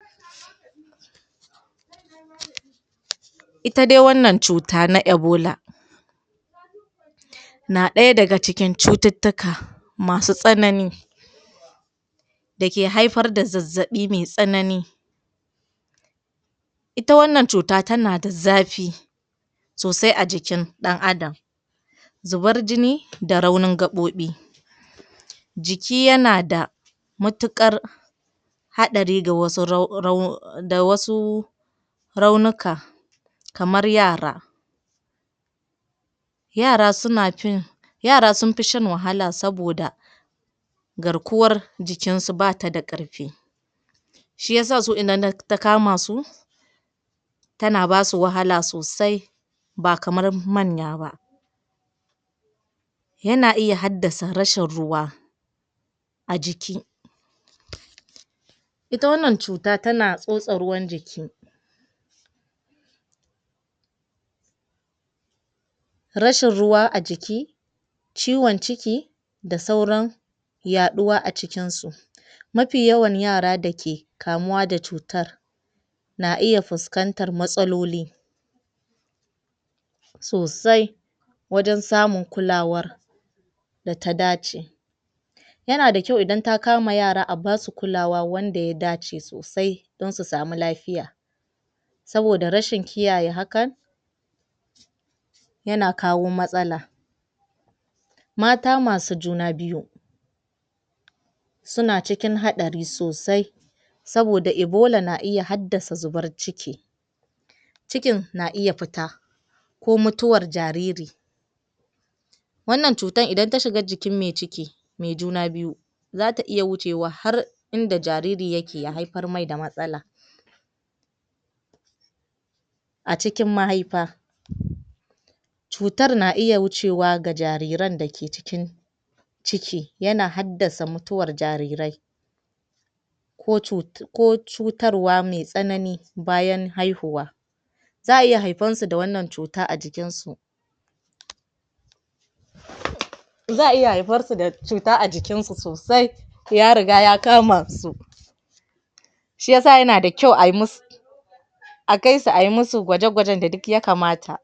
Ita dai wannan cuta na Ebola na ɗaya daga cikin cututtuka masu tsanani da ke haifar da zazzaɓi mai tsanani Ita wannan cuta tana da zafi sosai a jikin ɗan'adam zubar jini da raunin gaɓoɓi jiki yana da matuƙar haɗari ga wasu um da wasu raunuka kamar yara Yana suna fin, yara sun fi shan wahala saboda garkuwar jikinsu ba ta da ƙarfi shi ya sa su idan ta kama su tana ba su wahala sosai ba kamar manya ba. Yana iya haddasa rashin ruwa a jiki. Ita wannan cuta tana tsotse ruwan jiki rashin ruwa a jiki, ciwon ciki, da sauran yaɗuwa a cikinsu Mafi yawan yara da ke kamuwa da cutar na iya fuskantar matsaloli sosai wajen samun kulawar da ta dace Yana da kyau idan ta kama yara a ba su kulawa wanda ya dace sosai don su samu lafiya. Saboda rashin kiyaye hakan, yana kawo matsala Mata masu juna biyu suna cikin haɗari sosai saboda Ebola na iya haddasa zubar ciki cikin na iya fita ko mutuwar jariri. Wanda cutar idan ta shiga jikin mai ciki, mai juna biyu za ta iya wucewa har inda jaririn yake ya haifar mai da matsala. A cikin mahaifa, cutar na iya wucewa ga jariran da ke cikin ciki, yana haddasa mutuwar jarirai ko um ko cutarwa mai tsanani bayan haihuwa Za a iya haifarsu da wannan cuta a jikinsu za a iya haifarsu da cuta a jikinsu sosai, ya riga ya kama su Sji ya sa yana da kyau a yi musu a kai su a yi musu gwaje-gwajen da duk ya kamata.